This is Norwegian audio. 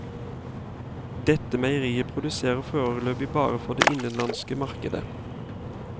Dette meieriet produserer foreløpig bare for det innenlandske markedet.